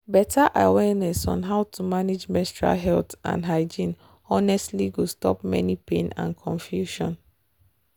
better awareness on how to manage menstrual health and hygiene honestly go stop many pain and confusion.